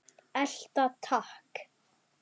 Elta takk!